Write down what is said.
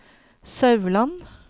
Sauland